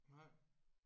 Nej